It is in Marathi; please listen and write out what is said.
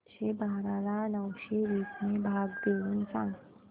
आठशे बारा ला नऊशे वीस ने भाग देऊन सांग